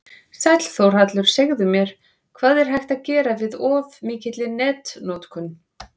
Sæll Þórhallur, segðu mér, hvað er hægt að gera við of mikilli netnotkun?